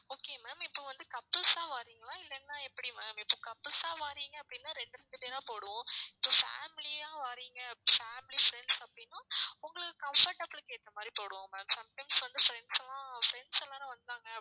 okay ma'am இப்ப வந்து couples ஆ வாரீங்களா இல்லன்னா எப்படி ma'am இப்ப couples ஆ வாரீங்க அப்படின்னா ரெண்டு ரெண்டு பேரா போடுவோம் so family ஆ வாரீங்க family friends அப்படின்னா உங்களுக்கு comfortable க்கு ஏத்த மாதிரி போடுவோம் ma'am sometimes வந்து friends எல்லாம் friends எல்லாரும் வந்தாங்க